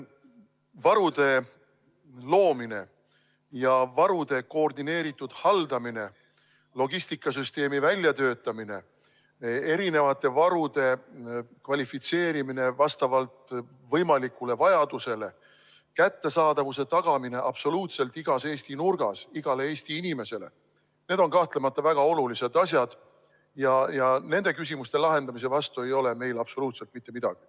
Varude loomine ja varude koordineeritud haldamine, logistikasüsteemi väljatöötamine, erinevate varude kvalifitseerimine vastavalt võimalikule vajadusele, kättesaadavuse tagamine absoluutselt igas Eesti nurgas igale Eesti inimesele – need on kahtlemata väga olulised asjad ja nende küsimuste lahendamise vastu ei ole meil absoluutselt mitte midagi.